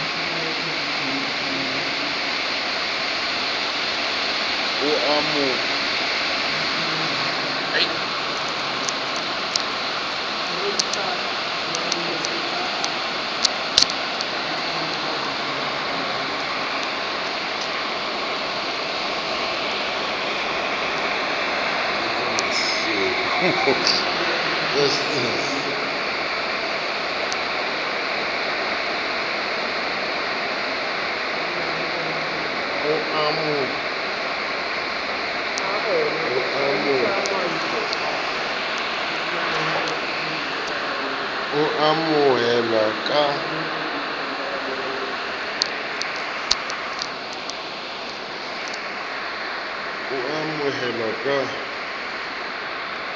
o a mo honohela ka